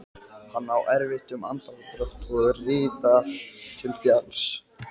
Hann á erfitt um andardrátt og riðar til falls.